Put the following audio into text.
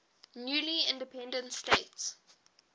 newly independent states